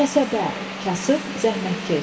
Kəsəbə, kasıb, zəhmətkeş.